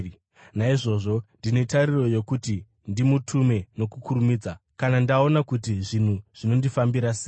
Naizvozvo, ndine tariro yokuti ndimutume nokukurumidza kana ndaona kuti zvinhu zvinondifambira sei.